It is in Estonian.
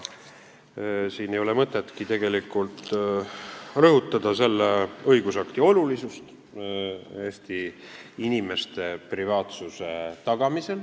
Siin ei ole tegelikult mõtetki rõhutada selle õigusakti olulisust Eesti inimeste privaatsuse tagamisel.